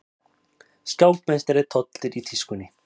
Skákmeistari tollir í tískunni